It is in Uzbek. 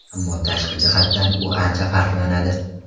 Ammo tashqi jihatdan u ancha farqlanadi.